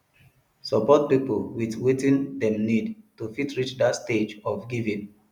support pipo with wetin dem need to fit reach that stage of giving